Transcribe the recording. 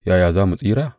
Yaya za mu tsira?